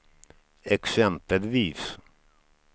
exempelvis